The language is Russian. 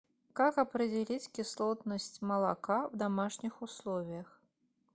как определить кислотность молока в домашних условиях